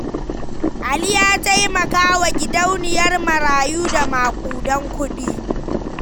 Ali ya taimaka wa wa gidauniyar marayu da maƙudan kuɗi.